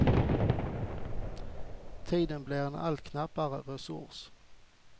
Tiden blir en allt knappare resurs.